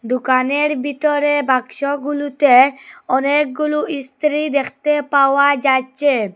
দুকানের বিতরে বাক্সগুলুতে অনেকগুলু ইস্ত্রি দেখতে পাওয়া যাচ্চে।